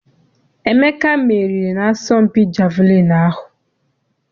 Emeka meriri na-asọmpi jeviliini ahụ.